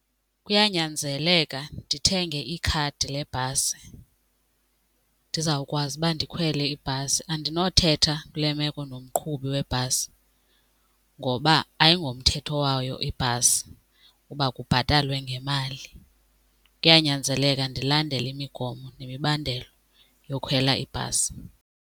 Kuyanyanzeleka ndithenge ikhadi lebhasi ndizawukwazi uba ndikhwele ibhasi. Andinothetha kule meko nomqhubi webhasi ngoba ayingomthetho wayo ibhasi uba kubhatalwe ngemali. Kuyanyanzeleka ndilandele imigomo nemibandela yokhwela ibhasi.